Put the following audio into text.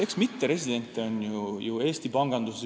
Eks mitteresidente ju Eesti panganduses on.